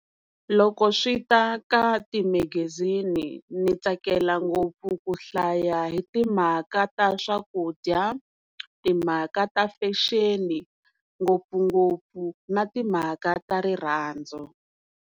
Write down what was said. Loko swi ta ka timegezini ndzi tsakela ngopfu ku hlaya hi timhaka ta swakudya timhaka ta fashion ngopfungopfu na timhaka ta rirhandzu.